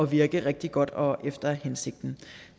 virke rigtig godt og efter hensigten